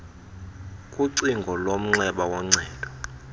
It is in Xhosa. kucingo lomnxeba woncedo